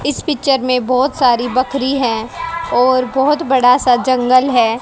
इस पिक्चर में बहुत सारी बकरी है और बहुत बड़ा सा जंगल है।